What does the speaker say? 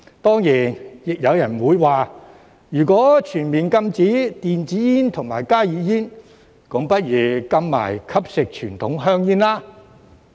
當然，亦有人會說，如果全面禁止電子煙和加熱煙，便不如一併禁止吸食傳統香煙。